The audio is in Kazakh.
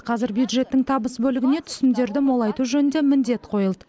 қазір бюджеттің табыс бөлігіне түсімдерді молайту жөнінде міндет қойылды